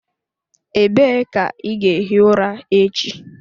Ebee ka ị ga-ehi ụra echi?